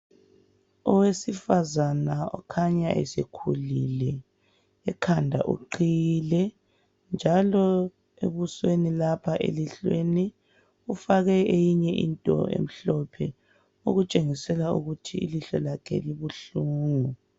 Owesifazana okhanya esekhulile. Ekhanda uqhiyile njalo ebusweni lapha elihlweni ufake into emhlophe okutshengisela ukuthi ilihlo lakhe libuhlungu.